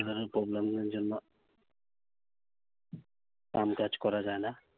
weather এর problem এর জন্য কাম কাজ করা যায় না।